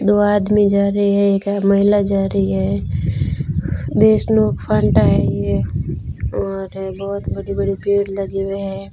दो आदमी जा रहे है एक महिला जा रही है और बहोत बड़े बड़े पेड़ लगे हुए है।